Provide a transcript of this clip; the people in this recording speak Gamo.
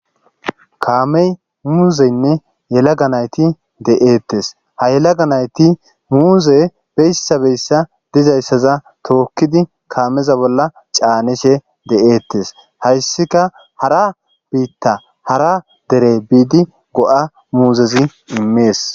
Kaamey muuzeynne yelaga nayti de7eettes ha yelaga nayti muuze beyssabeyssa dizayssaza tookkidi kaameza bolla caanishe de7eettes hayssika hara biitta hara dere biidi go7a muuzezi immees.